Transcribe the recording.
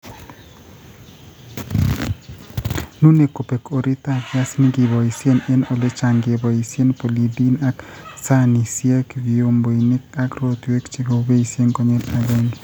nune kobeek oritap piasinik ,kiboisye eng' ole cham keboisye polystyrene ,eng' sahanisyek, vyomboinik ak rotwek che kiboisye konyil agenge.